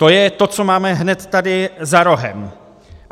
To je to, co máme hned tady za rohem.